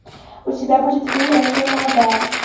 у тебя будет фильм россия молодая